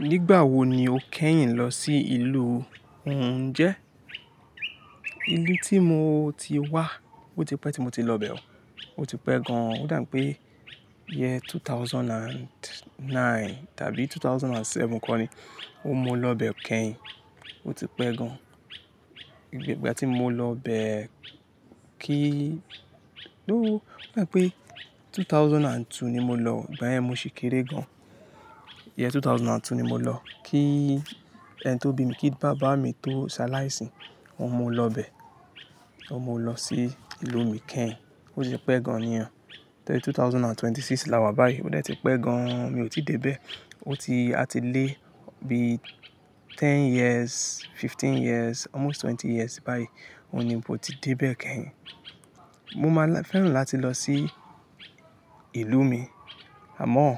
Nígbà wo ni o kẹ́yìn lọ sí ìlú òun jẹ́? Ìlú tí mo ti wá, ó ti pẹ́ tí mo ti lọ bẹ̀ ọ́, ó ti pẹ́ gan-an. Ó dà wipé year 2009 tàbí 2007 kọ́ ni óhun mo lọ ibẹ̀ kẹ́yìn, ó ti pẹ́ gan-an. Ìgbà tí mo lọ bẹ̀ kí, though, ó dà wipé 2002 ni mo lọ, igbayẹ̀n mo sì kéré gan-an. Year 2002 ni mo lọ, kí ẹni tó bí mi, kí bàbá mi tó ṣaláìsì, óhun mo lọ bẹ̀, óhun mo lọ sí ìlú mi kẹ́yìn, ó ti pẹ́ gan-an nìyẹn. Year 2026 làwa báyìí, ó de tí pẹ́ gan-an mi ò tí dé bẹ̀. Ó ti, a ti lé bi 10 years, 15 years, almost 20 years báyìí, òun ni mo ti dé bẹ̀ kẹ́yìn. Mo máa fẹ́ràn láti lọ sí ìlú mi, àmọ́ ó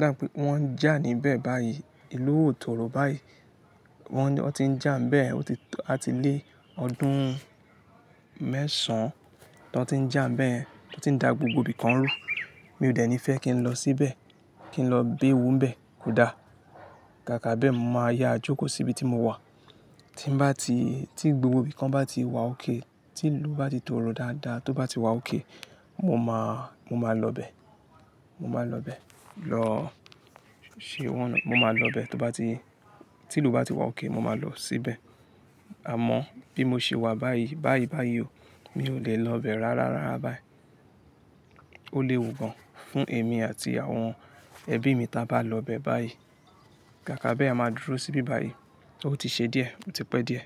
dàń pé wọ́n ń jà níbẹ̀ báyìí, ìlú ò tóoro báyìí, wọ́n, wọ́n ti ń jà níbẹ̀, ó ti, a ti lé ọdún mẹ́sàn-án tí wọ́n ti ń jà níbẹ̀, tí wọ́n ti ń da gbogbo ibìkan rú. Mi ò dẹ̀ ní fẹ́ kí n lọ síbẹ̀, kí n lọ béwu níbẹ̀ kódà. Kàkà bẹ́ẹ̀, mo máa yà jókòó síbi tí mo wà. Tí n bá ti, tí gbogbo ibìkan bá ti wà ókay, tí ìlú bá ti tóoro dáadáa, tó bá ti wà ókay, mo máa, mo máa lọ bẹ̀, mo máa lọ bẹ̀ lọ ṣe owó, mo máa lọ bẹ̀ tó bá ti, tí ìlú bá ti wà ókay, mo máa lọ síbẹ̀. Àmọ́ bí mo ṣe wà báyìí, báyìí, báyìí o, mi ò lè lọ ibẹ̀ rárára báyìí. Ó léwu gan-an fún èmi àti àwọn ẹbí mi tí a bá lọ bẹ̀ báyìí. Kàkà bẹ́ẹ̀, a máa dúró síbi báyìí, ó ti ṣe díẹ̀, ó ti pẹ́ díẹ̀